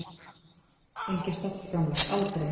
Hann hefur aldrei fengið stofnframlag, aldrei.